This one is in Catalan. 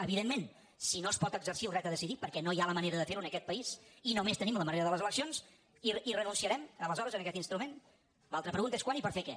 evidentment si no es pot exercir el dret a decidir perquè no hi ha la manera de fer ho en aquest país i només tenim la manera de les eleccions hi renunciarem aleshores a aquest instrument l’altra pregunta és quan i per fer què